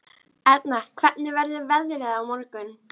Erna, hvernig verður veðrið á morgun?